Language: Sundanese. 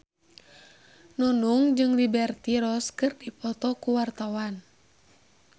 Nunung jeung Liberty Ross keur dipoto ku wartawan